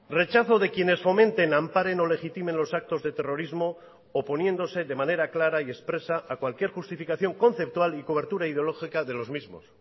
rechazo de quienes fomenten amparen o legitimen los actos de terrorismo oponiéndose de manera clara y expresa a cualquier justificación conceptual y cobertura ideológica de los mismos